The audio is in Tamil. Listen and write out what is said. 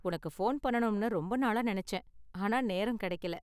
உனக்கு போன் பண்ணனும்னு ரொம்ப நாளா நெனைச்சேன் ஆனால் நேரம் கெடைக்கல.